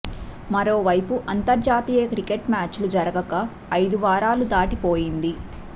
మరోవైపు అంతర్జాతీయ క్రికెట్ మ్యాచ్లు జరగక ఐదు వారాలు దాటి పోయింది